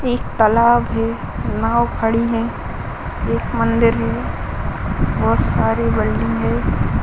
एक तालाब है। नाव खड़ी है। एक मंदिर है। बहोत सारे बिल्डिंग है।